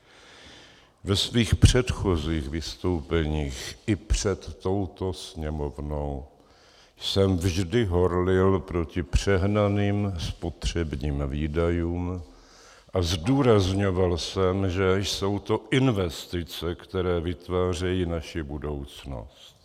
Ve svých předchozích vystoupeních i před touto Sněmovnou jsem vždy horlil proti přehnaným spotřebním výdajům a zdůrazňoval jsem, že jsou to investice, které vytvářejí naši budoucnost.